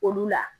Olu la